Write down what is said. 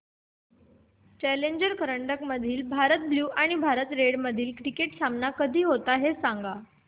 challenger करंडक मधील Bharat blue आणि भारत रेड मधील क्रिकेट सामना कधी आहे ते सांगा